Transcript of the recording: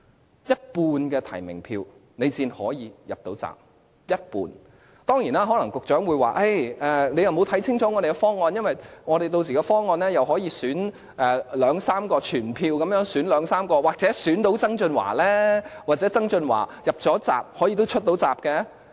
要有一半提名票才可以"入閘"，當然局長可能會說大家沒有看清楚政府的方案，因為那時的方案可以全票選出兩三位，那麼或許可以選出曾俊華，又或許曾俊華能"入閘"，更可以"出閘"。